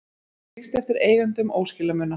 Lýst eftir eigendum óskilamuna